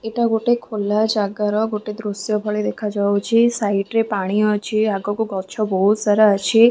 ଏଟା ଗୋଟେ ଖୋଲା ଯାକର ଗୋତେ ଦୃଶ୍ୟ ଭଳି ଦେଖା ଯାଉଅଛି। ସାଇଡ ରେ ପାଣି ଅଛି ଆଗକୁ ବହୁତ ସାରା ଗଛ ଅଛି।